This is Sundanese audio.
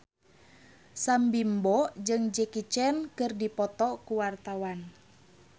Sam Bimbo jeung Jackie Chan keur dipoto ku wartawan